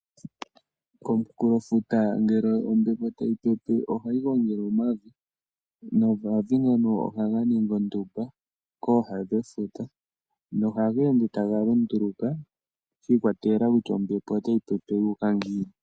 Komukulofuta ngele ombepo tayi pepe ohayi gongele omavi, nomavi ngono ohaga ningi ondumba kooha dhefuta na ohaga ende taga lunduluka shi ikwatelela kutya ombepo otayi pepe yuuka ngiini.